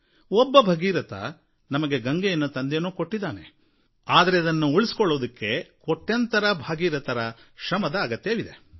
ಒಬ್ಬ ಭಗೀರಥ ನಮಗೆ ಗಂಗೆಯನ್ನು ತಂದೇನೋ ಕೊಟ್ಟಿದ್ದಾನೆ ಆದರೆ ಇದನ್ನು ಉಳಿಸಿಕೊಳ್ಳಲು ಕೋಟ್ಯಂತರ ಭಗೀರಥರ ಶ್ರಮದ ಅಗತ್ಯವಿದೆ